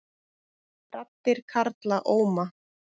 Raddir karla óma